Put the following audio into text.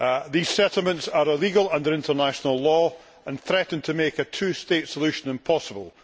These settlements are illegal under international law and threaten to make a two state solution impossible.